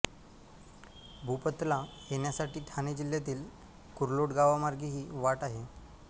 भूपतला येण्यासाठी ठाणे जिल्ह्यातीलच कुर्लोट गावामार्गेही वाट आहे